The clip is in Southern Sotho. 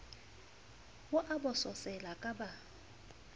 o a bososela ka ba